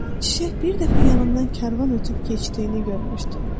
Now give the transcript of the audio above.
Çiçək bir dəfə yanından karvan ötüb keçdiyini görmüşdü.